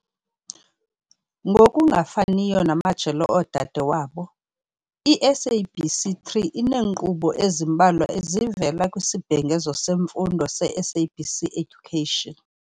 Ngokungafaniyo namajelo odade wabo, i-SABC 3 ineenkqubo ezimbalwa ezivela kwisibhengezo semfundo se-SABC Education.